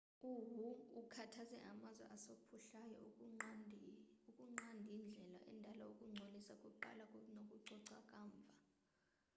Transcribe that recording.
u-hu ukhuthaze amazwe asaphuhlayo ukunqandaindlela endala wokungcolisa kuqala nokucoca kamva